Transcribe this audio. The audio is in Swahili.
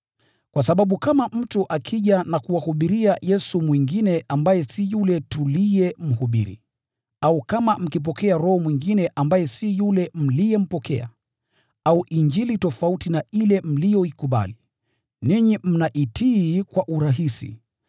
Kwa sababu kama mtu akija na kuwahubiria Yesu mwingine ambaye si yule tuliyemhubiri, au kama mkipokea roho mwingine ambaye si yule mliyempokea, au Injili tofauti na ile mliyoikubali, ninyi mnaitii kwa urahisi.